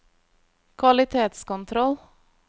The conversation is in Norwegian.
kvalitetskontroll